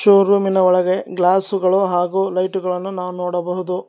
Showroom ನ ಒಳಗೆ glass ಗಳು ಹಾಗು ಲೈಟ್ ಗಳನ್ನು ನಾವ್ ನೋಡಬಹುದು.